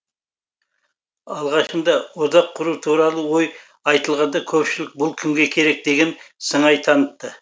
алғашында одақ құру туралы ой айтылғанда көпшілік бұл кімге керек деген сыңай танытты